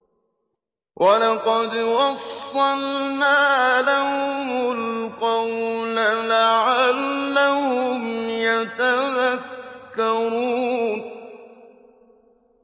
۞ وَلَقَدْ وَصَّلْنَا لَهُمُ الْقَوْلَ لَعَلَّهُمْ يَتَذَكَّرُونَ